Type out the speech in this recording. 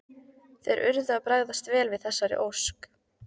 Þeir urðu að bregðast vel við þessari ósk.